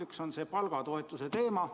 Üks on see palgatoetuse teema.